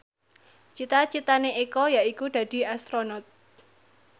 cita citane Eko yaiku dadi Astronot